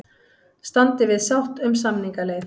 Standi við sátt um samningaleið